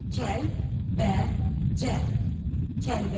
Kəlbəcər, Kəlbəcər.